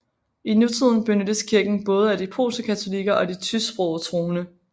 I nutiden benyttes kirken både af de polske katolikker og de tysksprogede troende